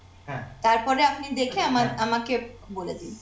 তারপরে আপনি দেখে আমার আমাকে বলে দিন